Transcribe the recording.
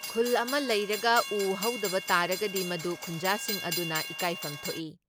ꯈꯨꯜ ꯑꯃ ꯂꯩꯔꯒ ꯎ ꯍꯧꯗꯕ ꯇꯥꯔꯒꯗꯤ ꯃꯗꯨ ꯈꯨꯟꯖꯥꯁꯤꯡ ꯑꯗꯨꯅ ꯏꯀꯥꯏꯐꯝ ꯊꯣꯛꯏ ꯫